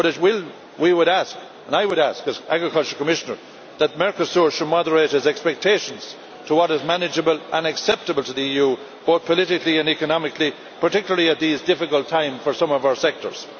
But we would ask and I would ask, as Agriculture Commissioner that Mercosur should moderate its expectations to what is manageable and acceptable to the EU both politically and economically, particularly in these difficult times for some of our sectors.